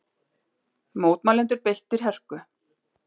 Mótmælendur beittir hörku